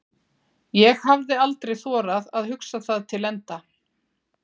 ég hafði aldrei þorað að hugsa það til enda.